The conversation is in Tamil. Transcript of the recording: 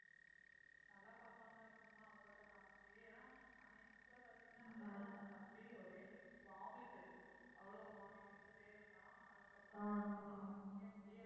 நல்லா பார்ப்பாங்க அப்படின்னா அவங்கள்ட்ட காமிச்சு ஏன்னா அன்னைக்கு கூடப் பார்த்தீங்கன்னா நல்லா தான் இருந்தான் தம்பி ஒரே vomit உ, அவ்ளோ vomit எடுத்துட்டே இருந்தான். அதுக்கு அப்புறம் அவனுக்கே முடியல.